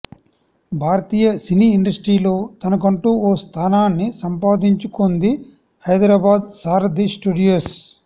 భారతీయ సినీ ఇండస్ట్రీలో తనకంటూ ఓ స్థానాన్ని సంపాదించుకొంది హైదరాబాద్ సారథి స్టూడియోస్